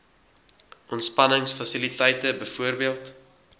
ontspannings fasiliteite bv